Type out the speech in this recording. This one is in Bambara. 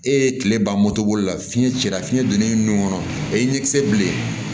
E ye tile ban la fiɲɛ cira fiɲɛ donnen nun kɔnɔ a ye ɲɛkisɛ bilen